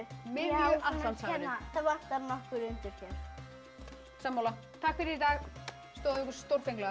miðju Atlantshafinu það vantar nokkur undur hér sammála takk fyrir í dag stóðuð ykkur stórfenglega